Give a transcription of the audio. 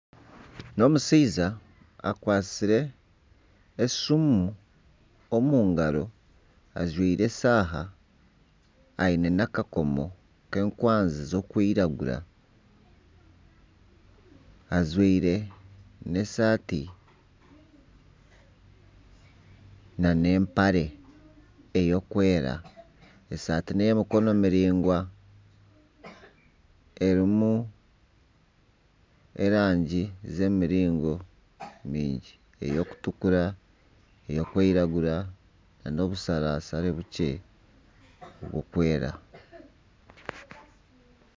Ogu n'omushaija akwatsire esimu omu ngaro ajwaire eshaaha aine n'akakomo k'enkwazi ezirikwiragura ajwaire n'esaati nana empare erikwera. Esaati n'ey'emikono miraingwa erimu erangi z'emiringo mingi. Erikutukura, erikwiragura nana obusharashare bukye burikwera.